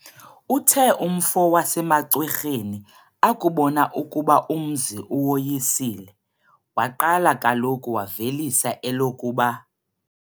Uthe umfo wasemaCwerheni akubona ukuba umzi uwoyisile, waqala kaloku wavelisa elokuba,